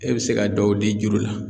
E bɛ se ka dɔw di juru la